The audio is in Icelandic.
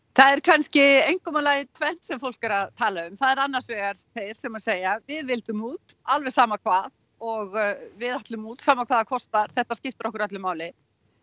það er kannski einkum og lagi tvennt sem fólk er að tala um það er annars vegar þeir sem segja við vildum út alveg sama hvað og við ætlum út sama hvað það kostar þetta skiptir okkur öllu máli